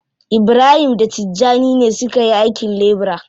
Ibrahim da Tijjani ne suka yi aikin lebura.